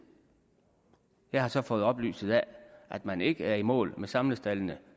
jeg har så fået oplyst at man ikke er i mål med samlestaldene